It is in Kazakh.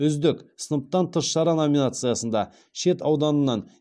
үздік сыныптан тыс шара номинациясында шет ауданынан